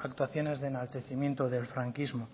actuaciones de enaltecimiento del franquismo